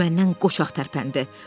O məndən qoçaq tərpəndi.